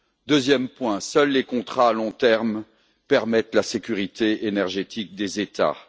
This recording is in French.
Deuxième point, seuls les contrats à long terme permettent la sécurité énergétique des États.